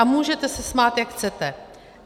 A můžete se smát, jak chcete.